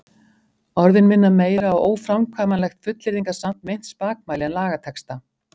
Orðin minna meira á óframkvæmanlegt fullyrðingasamt meint spakmæli en lagatexta.